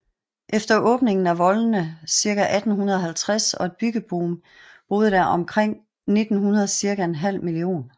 Efter åbningen af voldene cirka 1850 og et byggeboom boede der omkring 1900 cirka en halv million